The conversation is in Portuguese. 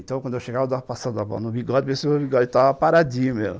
Então, quando eu chegava, eu estava passando a mão no bigode e estava paradinho mesmo.